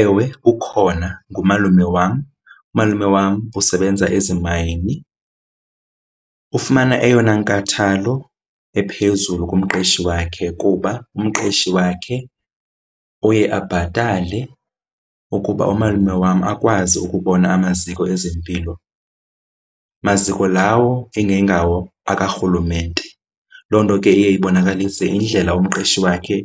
Ewe ukhona, ngumalume wam. Umalume wam usebenza ezimayini ufumana eyona nkathalo ephezulu kumqeshi wakhe kuba umqeshi wakhe uye abhatale ukuba umalume wam akwazi ukubona amaziko ezempilo, maziko lawo ingengawo akarhulumente. Loo nto ke iye ibonakalise indlela umqeshi wakhe